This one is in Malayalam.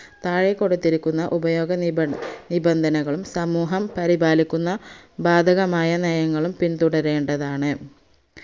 താഴെ കൊടുത്തിരിക്കുന്ന ഉപയോഗ നിബൻ നിബന്ധനകളും സമൂഹം പരിപാലിക്കുന്ന ബാധകമായ നയങ്ങളും പിന്തുരേണ്ടതാണ്